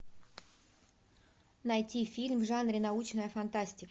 найти фильм в жанре научная фантастика